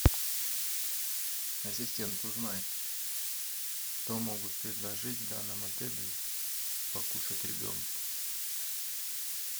ассистент узнай что могут предложить в данном отеле покушать ребенку